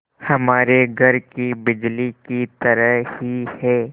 हमारे घर की बिजली की तरह ही है